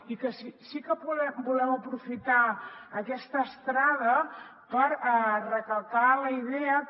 i sí que volem aprofitar aquesta estrada per recalcar la idea que